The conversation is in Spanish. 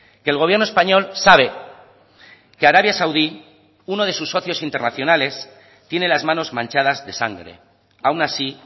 que el gobierno español sabe que arabia saudí uno de sus socios internacionales tiene las manos manchadas de sangre aun así